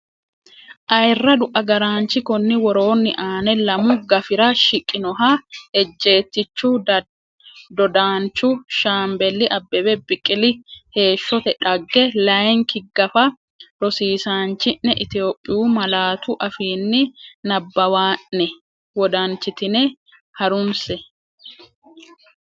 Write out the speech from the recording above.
Ayirradu agaraanchi Konni woroonni aane lamu gafira shiqqinoha ejjeettichu dodaanchu Shaambeli Abbebe Biqili heeshsote dhagge layinki gafa rosiisaanchi’ne Itophiyu malaatu afiinni nabbawanna’ne wodanchitine ha’runse.